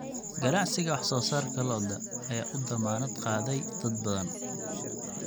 Ganacsiga wax soo saarka lo'da ayaa u dammaanad qaaday dad badan.